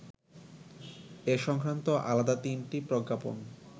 এ সংক্রান্ত আলাদা তিনটি প্রজ্ঞাপন